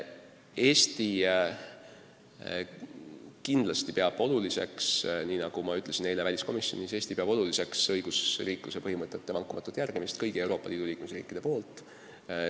Eesti kindlasti peab oluliseks, nagu ma ütlesin eile ka väliskomisjonis, õigusriikluse põhimõtete vankumatut järgimist kõigis Euroopa Liidu liikmesriikides.